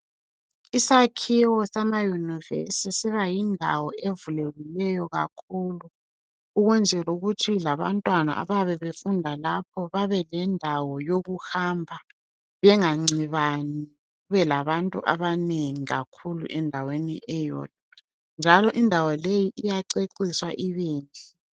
Isakhiwo sama yunivesi sibayindawo evulekileyo kakhulu ukwenzela ukuthi labantwana abayabe befunda lapho babe lendawo yokuhamba bengancibani kube labantu abanengi kakhulu endaweni eyodwa njalo indawo leyi iyaceciswa ibenhle